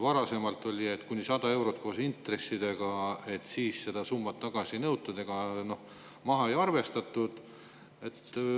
Varasemalt oli nii, et kuni 100 eurot koos intressidega, siis seda tagasi ei nõutud ega maha ei arvestatud.